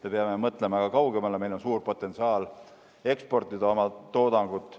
Me peame mõtlema ka kaugemale, meil on suur potentsiaal eksportida oma toodangut.